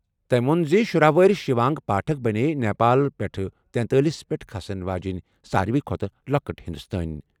تٔمۍ ووٚن زِ شُرہَ وُہُر شِوانگی پاٹھک بَنییہِ نیپال پٮ۪ٹھٕ تینٛتٲلِس پٮ۪ٹھ کھسَن واجیٚنۍ سارِوٕے کھۄتہٕ لۄکٕٹ ہِنٛدوستٲنۍ